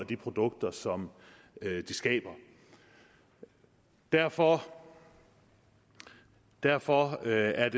de produkter som de skaber derfor derfor er